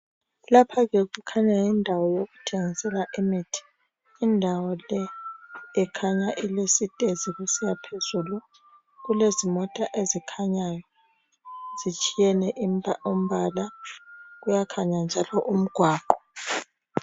Lapha ke kukhanya yindawo yokuthengisela imithi. Indawo le ikhanya ilesitezi kusiyaphezulu. Kulezimota ezikhanyayo. Zitshiyene umbala. Kuyakhanya njalo umgwaqo.